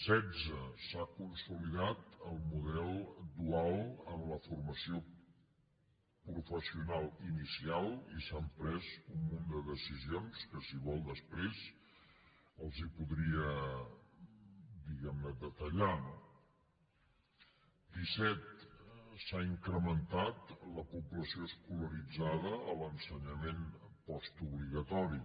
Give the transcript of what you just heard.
setze s’ha consolidat el model dual en la formació professional inicial i s’han pres un munt de decisions que si vol després les hi podria diguem ne detallar no disset s’ha incrementat la població escolaritzada a l’ensenyament postobligatori